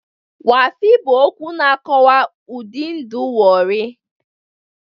Waffi' bụ okwu na-akọwa ụdị ndụ Warri